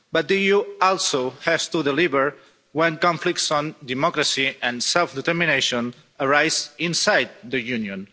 But the EU also has to deliver when conflicts on democracy and self determination arise inside the Union.